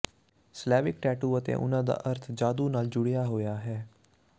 Slavic tattoo ਅਤੇ ਉਹਨਾਂ ਦਾ ਅਰਥ ਜਾਦੂ ਨਾਲ ਜੁੜਿਆ ਹੋਇਆ ਹੈ